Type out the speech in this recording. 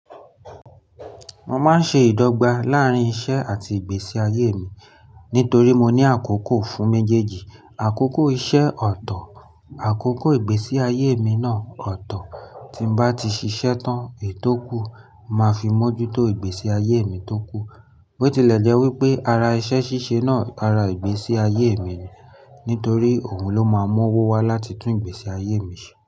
Mo máa ń ṣe ìdọ́gba láàrín iṣẹ́ àti ìgbésí ayé mi nítorí mo ní àkókò fún méjèèjì. Àkókò iṣẹ́ ọ̀tọ̀, àkókò ìgbésí ayé mi náà ọ̀tọ̀. Tí mo bá ti ṣiṣẹ́ tán ètò kú, màá fi mójútó ìgbésí ayé mi tó kù. Bo tilè jẹ́ wípé ara iṣẹ́ ṣíṣe náà ara ìgbésí ayé mi ni, nítorí òun ló máa mú owó wá láti tún ìgbésí ayé mi ṣe.